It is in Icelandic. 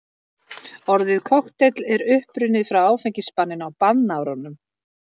Orðið kokteill er upprunnið frá áfengisbanninu á bannárunum.